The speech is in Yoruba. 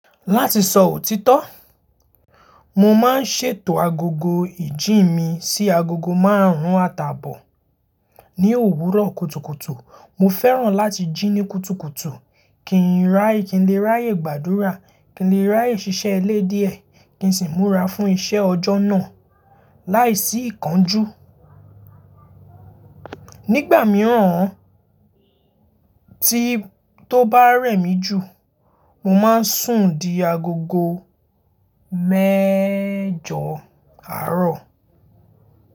Láti sọ òtítọ́, mo máa ń ṣètò agogo ìjí mi sí agogo márùn-ún àtàbọ̀ ní òwúrọ̀ kùtùkùtù. Mo fẹ́ràn láti jí ní kùtùkùtù kí n lè ráyè gbàdúrà, kí n lè ráyè ṣiṣẹ́ ilé díẹ̀ kí n sì múra fún iṣẹ́ ọjọ́ náà láìsí ìkánjú. Nígbà mìíràn tí ó bá rẹ̀ mí jù, mo máa ń sùn di agogo mẹ́jọ̀ àárọ̀.